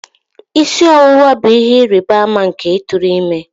Isi ọwụwa bụ ihe ịrịba ama nke ịtụrụ ime